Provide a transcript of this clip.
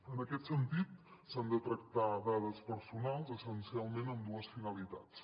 en aquest sentit s’han de tractar dades personals essencialment amb dues finalitats